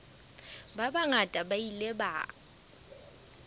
ba bangata ba ile ba